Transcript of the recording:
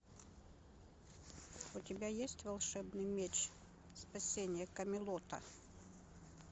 у тебя есть волшебный меч спасение камелота